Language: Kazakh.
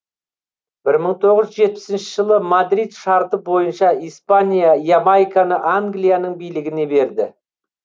бір мың тоғыз жүз жетпісінші жылы мадрид шарты бойынша испания ямайканы англияның билігіне берді